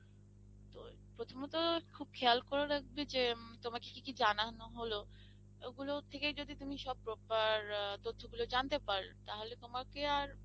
তো প্রথমত খুব খেয়াল করে রাখবে যে তোমাকে কি জানানো হলো ওগুলো থেকে যদি তুমি সব proper তথ্যগুলো জানতে পারো তাহলে তোমাকে আর